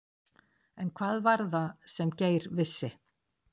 En hvað var það sem Geir vissi?